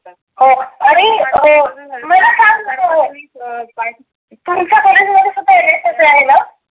हो आणि हं मला सांग तुमच्या कॉलेज मध्ये सुद्धा एन एस एस आहे ना?